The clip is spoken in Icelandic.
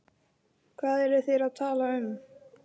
Hvað eru þeir að tala um?